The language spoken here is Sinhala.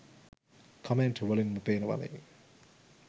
කමෙන්ට් වලින්ම පෙනවනේ.